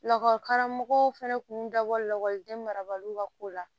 Lakɔlikaramɔgɔw fana tun dabɔ lakɔliden marabaliw ka ko la